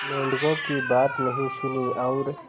मेंढकों की बात नहीं सुनी और